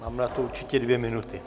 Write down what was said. Mám na to určitě dvě minuty.